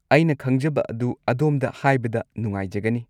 ꯑꯩꯅ ꯈꯪꯖꯕ ꯑꯗꯨ ꯑꯗꯣꯝꯗ ꯍꯥꯏꯕꯗ ꯅꯨꯡꯉꯥꯏꯖꯒꯅꯤ꯫